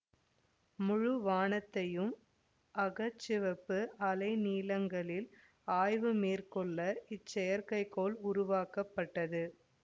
முழுவானத்தையும் அக சிவப்பு அலைநீளங்களில் ஆய்வு மேற்கொள்ள இச்செயற்கை கோள் உருவாக்கப்பட்டது